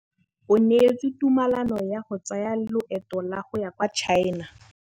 O neetswe tumalanô ya go tsaya loetô la go ya kwa China.